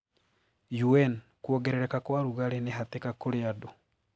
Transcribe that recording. UN:Kuogerereka kwa rugarii ni hatika kũri andũ.